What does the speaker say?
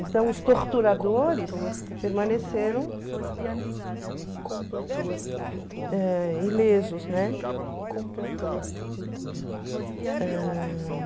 Então, os torturadores permaneceram ãh ilesos, né? Ãh